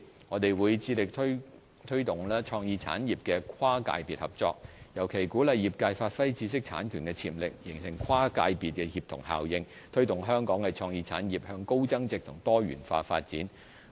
我們會致力推動創意產業的跨界別合作，尤其鼓勵業界發揮知識產權的潛力，形成跨界別協同效應，推動香港的創意產業向高增值及多元化發展。